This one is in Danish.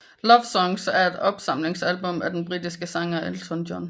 Love Songs er et opsamlingsalbum af den britiske sangeren Elton John